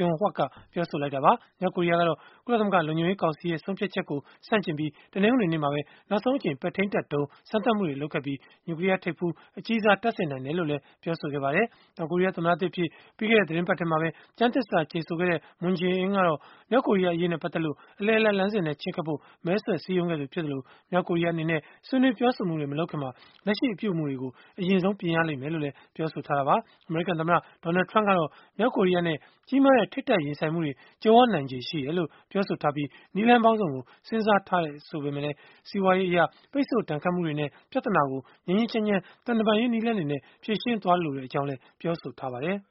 June-Hyuck ကပြောဆိုလိုက်တာပါ။ မြောက်ကိုရီးယားကတော့ ကုလသမဂ္ဂ လုံခြုံရေး ကောင်စီရဲ့ ဆုံးဖြတ်ချက်ကို ဆန့်ကျင်ပြီး တနင်္ဂနွေနေ့မှာပဲ နောက်ဆုံးအကြိမ် ပဲ့ထိန်းတပ်ဒုံး စမ်းသပ်မှုတွေ လုပ်ခဲ့ပြီး၊ နျူကလီးယားထိပ်ဖူး အကြီးစား တပ်ဆင်နိုင်တယ်လို့လည်း ပြောဆိုခဲ့ပါတယ်။ တောင်ကိုရီးယား သမ္မတသစ်အဖြစ် ပြီးခဲ့တဲ့ သီတင်းပတ်ထဲမှာပဲ ကျမ်းသစ္စာ ကျိန်ဆိုခဲ့တဲ့ Moon Jae-in ကတော့ မြောက်ကိုရီးယား အရေးနဲ့ ပတ်သက်လို့ အလယ်အလတ်လမ်းစဉ်နဲ့ ချဉ်းကပ်ဖို့ မဲဆွယ်စည်းရုံးခဲ့သူ ဖြစ်သလို၊ မြောက်ကိုရီးယား အနေနဲ့ ဆွေးနွေးပြောဆိုမှုတွေ မလုပ်ခင်မှာ လက်ရှိအပြုအမူတွေကို အရင်ပြင်ရလိမ့်မယ်လို့လည်း ပြောဆိုထားတာပါ။ အမေရိကန်သမ္မတ Donald Trump ကတော့ မြောက်ကိုရီးယားနဲ့ ကြီးမားတဲ့ ထိပ်တိုက်ရင်ဆိုင်မှုတွေ ကြုံရနိုင်ခြေ ရှိတယ်လို့ ပြောဆိုထားပြီး၊ နည်းလမ်းပေါင်းစုံကို စဉ်းစားထားတယ်လို့လည်း ဆိုပေမဲ့၊ စီးပွားရေးအရ ပိတ်ဆို့ဒဏ်ခတ်မှုတွေနဲ့ ပြဿနာကို ငြိမ်းငြိမ်းချမ်းချမ်း သံတမန်ရေး နည်းလမ်းတွေနဲ့ ဖြေရှင်းလိုကြောင်းလည်း ပြောဆိုထားပါတယ်။